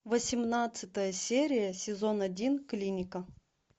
восемнадцатая серия сезон один клиника